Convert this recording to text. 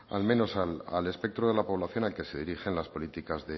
al menos al espectro de la población al que se dirigen las políticas